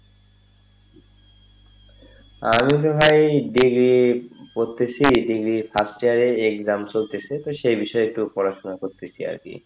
আমি তো ভাই degree পড়তেছি degree first year এর exam চলতেছে তো সেই বিষয়ে একটু পড়াশোনা করতেছি আরকি,